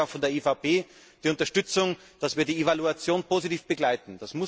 Deswegen haben Sie auch von der EVP die Unterstützung, dass wir die Evaluation positiv begleiten.